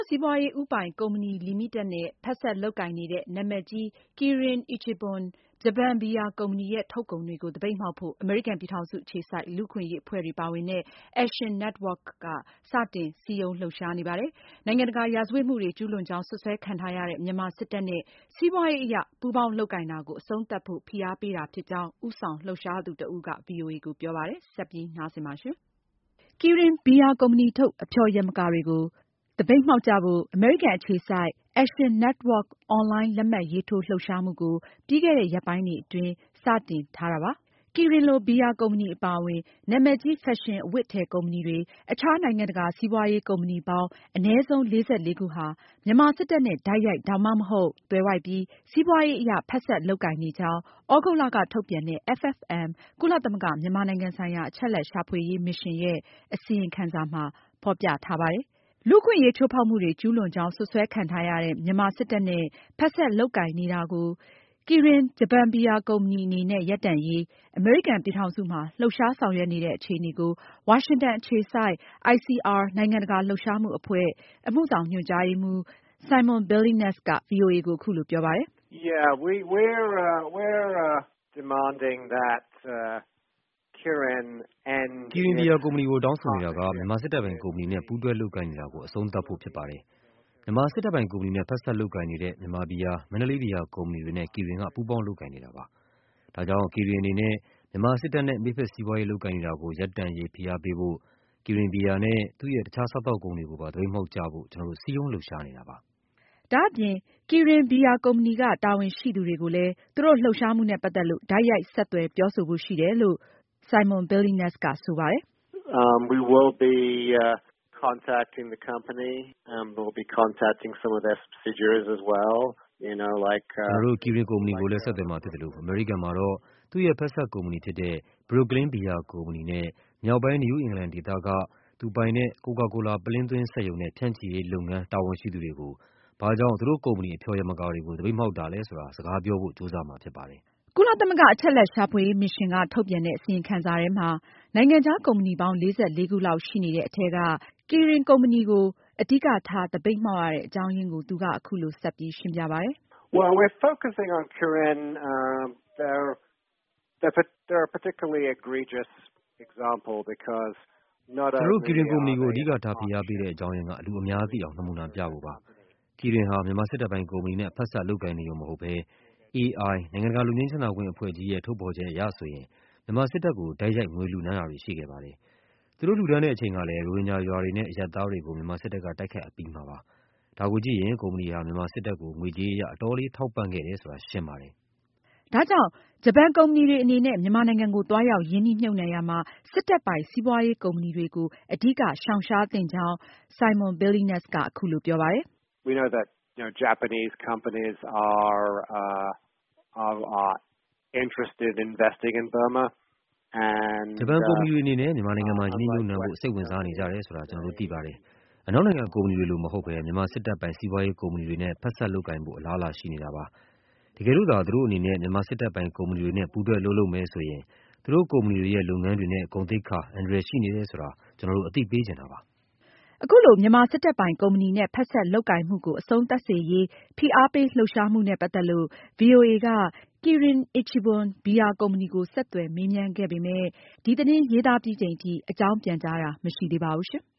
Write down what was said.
စီးပွားရေး ဦးပိုင်ကုမ္ပဏီလီမီတက်နဲ့ ဖက်စက်လုပ်ကိုင်နေတဲ့ နာမည်ကြီး Kirin Ichiban ဂျပန် ဘီယာကုမ္ပဏီရဲ့ ထုတ်ကုန်တွေကို သပိတ်မှောက်ဖို့ အမေရိကန်ပြည်ထောင်စု အခြေစိုက် လူ့အခွင့်အရေးအဖွဲ့တွေ ပါဝင်တဲ့ Action Network က စတင်စည်းရုံးလှုပ်ရှားနေပါတယ်။ နိုင်ငံတကာ ရာဇဝတ်မှုတွေကျူးလွန်ကြောင်း စွပ်စွဲခံထားရတဲ့ မြန်မာစစ်တပ်နဲ့ စီးပွားရေးအရ ပူးပေါင်း လုပ်ကိုင်တာကို အဆုံးသတ်ဖို့ ဖိအားပေးတာဖြစ်ကြောင်း ဦးဆောင်လှုပ်ရှားသူတဦးက ဗွီအိုအေကို ပြောပါတယ်။ မအင်ကြင်းနိုင်က အပြည့်အစုံ တင်ပြထားပါတယ်။ Kirin ဘီယာကုမ္ပဏီထုတ် အဖျော်ယမာကာတွေကို သပိတ်မှောက်ကြဖို့ အမေရိကန်အခြေစိုက် Action Network အွန်လိုင်း လက်မှတ်ရေးထိုးလှုပ်ရှားမှုကို ပြီးခဲ့တဲ့ ရက်ပိုင်းတွေအတွင်း စတင် ထားတာပါ။ Kirin လို ဘီယာကုမ္ပဏီအပါအဝင် နာမည်ကြီး ဖက်ရှင်အဝတ်အထည် ကုမ္ပဏီတွေ၊ အခြား နိုင်ငံတကာစီးပွားရေးကုမ္ပဏီပေါင်း အနည်းဆုံး ခုဟာ မြန်မာစစ်တပ်နဲ့ တိုက်ရိုက် ဒါမှမဟုတ် သွယ်ဝိုက်ပြီး စီးပွားရေးအရ ဖက်စပ် လုပ်ကိုင်နေကြောင်း သြဂုတ်လက ထုတ်ပြန်တဲ့ FFM ကုလသမဂ္ဂ မြန်မာနိုင်ငံဆိုင်ရာ အချက်အလက်ရှာဖွေရေး မစ်ရှင်းရဲ့ အစီရင်ခံစာမှာ ဖေါ်ပြထားပါတယ်။ လူ့အခွင့်အရေးချိုးဖောက်မှုတွေ ကျူးလွန်ကြောင်း စွပ်စွဲ ခံထားရတဲ့ မြန်မာစစ်တပ်နဲ့ ဖက်စပ်လုပ်ကိုင်နေတာကို Kirin ဂျပန်ဘီယာကုမ္ပဏီ အနေနဲ့ ရပ်တန့်ရေး အမေရိကန်ပြည်ထောင်စုမှာ လှုပ်ရှားဆောင်ရွက်နေတဲ့ အခြေအနေကို ဝါရှင်တန် အခြေစိုက် ICR နိုင်ငံတကာလှုပ်ရှားမှုအဖွဲ့ အမှုဆောင်ညွှန်ကြားရေးမှူး Simon Billenness က ဗွီအိုအေကို အခုလို ပြောပါတယ်။ "Kirin ဘီယာ ကုမ္ပဏီကို တောင်းဆိုနေတာက မြန်မာစစ်တပ်ပိုင် ကုမ္ပဏီနဲ့ပူးတွဲလုပ်ကိုင်နေတာကို အဆုံးသတ်ဖို့ ဖြစ်ပါတယ်။ မြန်မာစစ်တပ်ပိုင် ကုမ္ပဏီနဲ့ ဖက်စပ်လုပ်ကိုင်နေတဲ့ မြန်မာ ဘီယာ၊ မန္တလေး ဘီယာ ကုမ္ပဏီတွေနဲ့ Kirin ဟာ ပူးပေါင်းလုပ်ကိုင်နေတာပါ။ ဒါကြောင့် Kirin အနေနဲ့ မြန်မာစစ်တပ်နဲ့ မိတ်ဖက်စီးပွားရေးလုပ်ကိုင်နေတာကို ရပ်တန့်ရေး ဖိအားပေးဖို့ Kirin ဘီယာနဲ့ သူရဲ့ အခြား စားသောက်ကုန်တွေကိုပါ သပိတ်မှောက်ကြဖို့ ကျနော်တို့ စည်းရုံးလှုပ်ရှားနေတာပါ။" ဒါအပြင် Kirin ဘီယာကုမ္ပဏီက တာဝန်ရှိသူတွေကိုလည်း သူတို့လှုပ်ရှားမှုနဲ့ ပတ်သက်လို့ တိုက်ရိုက် ဆက်သွယ်ပြောဆိုဖို့ ရှိတယ်လို့ Simon Billenness ကဆိုပါတယ်။ "ကျနော်တို့ Kirin ကုမ္ပဏီကိုလည်း ဆက်သွယ်မှာဖြစ်သလို၊ အမေရိကန်ပြည်ထောင်စုမှာတော့ သူရဲ့ ဖက်စပ်ကုမ္ပဏီဖြစ်တဲ့ Brooklyn ဘီယာကုမ္ပဏီနဲ့ မြောက်ပိုင်း နယူးအင်္ဂလန်ဒေသက သူပိုင်တဲ့ Coca-Cola ပုလင်းသွင်းစက်ရုံနဲပ ဖြန့်ချိရေးလုပ်ငန်းရဲ့ တာဝန်ရှိသူတွေကိုဆက်သွယ်ပြီး ဘာကြောင့် သူတို့ ကုမ္ပဏီ အဖျော်ယမကာတွေကို သပိတ်မှောက်တာလည်း ဆိုတာ စကားပြောဖို့ ကြိုးစားမှာဖြစ်ပါတယ်။" ကုလသမဂ္ဂ အချက်အလက်ရှာဖွေရေးမစ်ရှင်းက ထုတ်ပြန်တဲ့ အစီရင်ခံစာထဲမှာ နိုင်ငံခြားကုမ္ပဏီပေါင်း ၄၄ ခုလောက်ရှိနေတဲ့အထဲက Kirin ကုမ္ပဏီကို အဓိကထား သပိတ်မှောက်ရတဲ့ အကြောင်းအရင်းကို သူက အခုလို ဆက်ပြီးရှင်းပြပါတယ်။ "ကျနော်တို့ Kirin ကုမ္ပဏီကို အဓိကထား ဖိအားပေးတဲ့ အကြောင်းအရင်းက လူအများသိအောင် နမူနာပြဖို့ဖြစ်ပါတယ်။ Kirin ဟာ မြန်မာစစ်တပ်ပိုင် ကုမ္ပဏီနဲ့ ဖက်စပ်လုပ်ကိုင်နေရုံ မဟုတ်ပဲ AI နိုင်ငံတကာ လွတ်ငြိမ်းချမ်းသာခွင့် အဖွဲ့ကြီးရဲ့ ထုတ်ဖေါ်ချက်အရဆိုရင် မြန်မာစစ်တပ်ကို တိုက်ရိုက် ငွေလှုဒါန် းတာတွေ ရှိခဲ့ပါတယ်။ သူတို့လှုဒါန်းတဲ့ အချိန်ကလည်း ရိုဟင်ဂျာရွာတွေနဲ့ အရပ်သားတွေကို မြန်မာစစ်တပ်ကတိုက်ခိုက် အပြီးမှာ ဖြစ်ပါတယ်။ ဒါကိုကြည့်ရင် ကုမ္ပဏီဟာ မြန်မာစစ်တပ်ကို ငွေကြေးအရအတော်လေး ထောက်ပံ့ခဲ့တယ်ဆိုတာ ရှင်းပါတယ်။" ဒါကြောင့် ဂျပန် ကုမ္ပဏီတွေအနေနဲ့ မြန်မာနိုင်ငံကို သွားရောက်ရင်းနှီးမြှုပ်နှံရာမှာ စစ်တပ်ပိုင် စီးပွားရေးကုမ္ပဏီတွေကို အဓိကရှောင်ရှားသင့်ကြောင်း Simon Billenness က အခုလို ပြောပါတယ်။ "ဂျပန် ကုမ္ပဏီတွေအနေနဲ့ မြန်မာနိုင်ငံမှာ ရင်းနှီးမြှုပ်နှံဖို့ စိတ်ဝင်စားနေကြတယ်ဆိုတာ ကျနော်တို့ သိပါတယ်။ အနောက်နိုင်ငံ ကုမ္ပဏီတွေလို မဟုတ်ပဲ မြန်မာစစ်တပ်ပိုင် စီးပွားရေးကုမ္ပဏီတွေနဲ့ ဖက်စက်လုပ်ကိုင်ဖို့ ဂျပန်ကုမ္ပဏီတွေက ပိုပြီး အလားအလာရှိနေတာပါ။ တကယ်လို့သာ သူတို့အနေနဲ့ မြန်မာစစ်တပ်ပိုင် ကုမ္ပဏီတွေနဲ့ ပူးတွဲအလုပ်လုပ်မယ်ဆိုရင် သူတို့ကုမ္ပဏီတွေရဲ့ လုပ်ငန်းတွေ၊ ဂုဏ်သိက္ခာ အန္တရာယ်ရှိနေတယ်ဆိုတာ ကျနော်တို့ အသိပေးချင်တာပါ။" အခုလို မြန်မာစစ်တပ်ပိုင် ကုမ္ပဏီနဲ့ ဖက်စပ်လုပ်ကိုင်မှုကို အဆုံးသတ်စေရေး ဖိအားပေးလှုပ်ရှားမှု နဲ့ပတ်သက်လို့ ဗွီအိုအေက Kirin ဘီယာကုမ္ပဏီကို ဆက်သွယ်မေးမြန်းခဲ့ပေမယ့် ဒီသတင်း ရေးသားပြီးချိန်ထိ အကြောင်းပြန်ကြားတာ မရှိသေးပါဘူး။